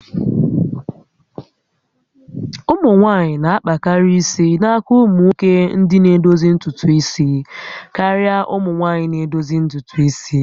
Ụmụ nwanyị na-akpakarị isi n'aka ụmụnwoke ndị na-edozi ntutu isi karịa ụmụ nwaanyị na edozi ntutu isi